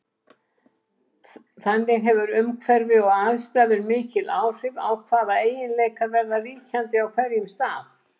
Þannig hefur umhverfi og aðstæður mikil áhrif á hvaða eiginleikar verða ríkjandi á hverjum stað.